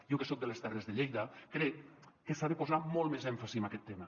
jo que soc de les terres de lleida crec que s’ha de posar molt més èmfasi en aquest tema